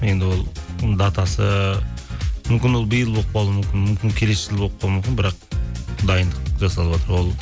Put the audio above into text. енді ол датасы мүмкін ол биыл болып қалуы мүмкін мүмкін келесі жылы болып қалуы мүмкін бірақ дайындық жасалыватыр ол